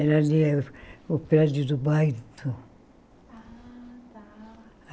Era ali o prédio do bairro. Ah tá